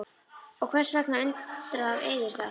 Og hvers vegna undrar yður það?